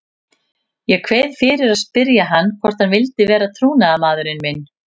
Ég kveið fyrir að spyrja hann hvort hann vildi vera trúnaðarmaðurinn minn.